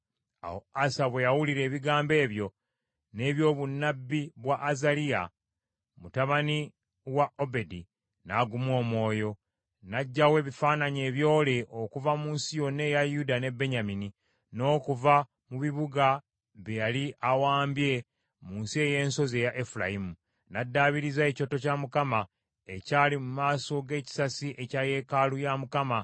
Awo Asa bwe yawulira ebigambo ebyo, n’ebyobunnabbi bwa Azaliya mutabani wa Obedi, n’aguma omwoyo, n’aggyawo ebifaananyi ebyole okuva mu nsi yonna eya Yuda ne Benyamini, n’okuva mu bibuga bye yali awambye mu nsi ey’ensozi eya Efulayimu. N’addaabiriza ekyoto kya Mukama ekyali mu maaso g’ekisasi ekya yeekaalu ya Mukama .